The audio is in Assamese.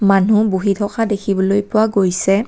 মানুহ বহি থকা দেখিবলৈ পোৱা গৈছে।